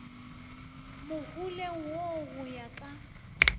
moholeng wo go ya ka